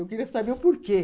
Eu queria saber o porquê.